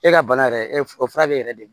E ka bana yɛrɛ o fura bɛ e yɛrɛ de